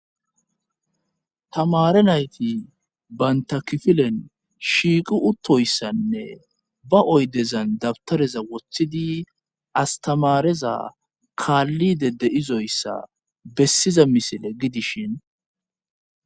tamare nayti bantakifilen shiiqu uttoyssanne ba oydezan dabtareza wothidi astamareza kaallide de izoyssa bessiza misile gidishin